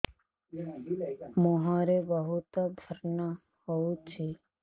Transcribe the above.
ମୁଁହରେ ବହୁତ ବ୍ରଣ ହଉଛି